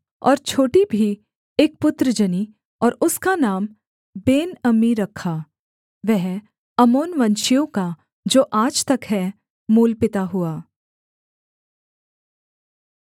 और छोटी भी एक पुत्र जनी और उसका नाम बेनअम्मी रखा वह अम्मोनवंशियों का जो आज तक है मूलपिता हुआ